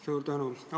Suur tänu!